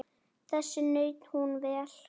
Þess naut hún vel.